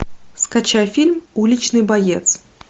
скачай фильм уличный боец